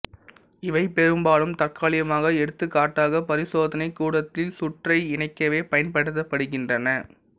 இவை பெரும்பாலும் தற்காலிகமாக எடுத்துக்காட்டாக பரிசோதனைக் கூடத்தில் சுற்றை இணைக்கவே பயன்படுத்தப்படுகின்றன